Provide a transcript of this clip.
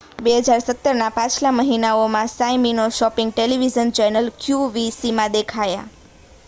2017ના પાછલા મહિનાઓમાં સાઇમિનૉ શૉપિંગ ટેલિવિઝન ચૅનલ qvcમાં દેખાયા